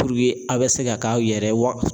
a bɛ se ka k'aw yɛrɛ ye wa